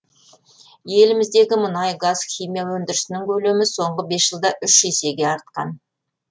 еліміздегі мұнай газ химия өндірісінің көлемі соңғы бес жылда үш есеге артқан